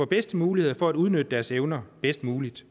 bedste muligheder for at udnytte deres evner bedst muligt